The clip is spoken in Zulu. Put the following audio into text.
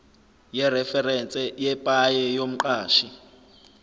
yereferense yepaye yomqashi